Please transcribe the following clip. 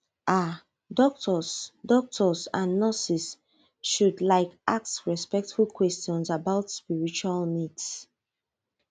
ah doctors doctors and nurses should like ask respectful questions about spiritual needs